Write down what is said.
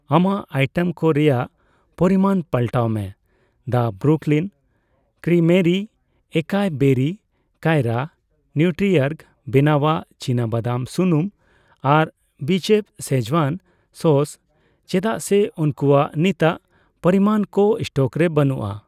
ᱟᱢᱟᱜ ᱟᱭᱴᱮᱢ ᱠᱚ ᱨᱮᱭᱟᱜ ᱯᱚᱨᱤᱢᱟᱱ ᱯᱟᱞᱴᱟᱣ ᱢᱮ ᱫᱟ ᱵᱨᱩᱠᱞᱤᱱ ᱠᱨᱤᱢᱮᱨᱤ ᱮᱠᱟᱭ ᱵᱮᱨᱤ ᱠᱟᱭᱨᱟ, ᱱᱤᱣᱴᱨᱤᱚᱨᱜ ᱵᱮᱱᱟᱣᱟᱜ ᱪᱤᱱᱟᱵᱟᱫᱟᱢ ᱥᱩᱱᱩᱢ ᱟᱨ ᱵᱤᱪᱮᱯᱷ ᱥᱮᱡᱣᱟᱱ ᱥᱚᱥ ᱪᱮᱫᱟᱜ ᱥᱮ ᱩᱝᱠᱩᱣᱟᱜ ᱱᱤᱛᱟᱜ ᱯᱚᱨᱤᱢᱟᱱ ᱠᱚ ᱮᱥᱴᱚᱠ ᱨᱮ ᱵᱟᱹᱱᱩᱜᱼᱟ ᱾